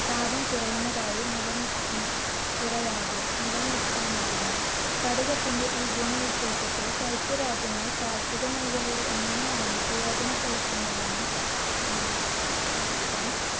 താപം കുറയുന്നതായി നിലനിർ~ കുറയാതെ നിലനിർത്താനാവുന്നു. സ്പടികത്തിന്റെ ഈ ഗുണവിശേഷത്തെ ശൈത്യ രാജ്യങ്ങൾ കാർഷിക മേഖലയിൽ എങ്ങനെയാണ് പ്രയോജനപ്പെടുത്തുന്നതെന്ന് ഉം